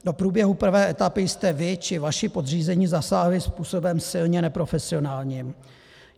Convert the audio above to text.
Do průběhu prvé etapy jste vy či vaši podřízení zasáhli způsobem silně neprofesionálním.